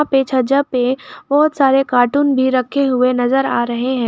पे छज्जा पे बहुत सारे कार्टून भी रखे हुए नजर आ रहे हैं।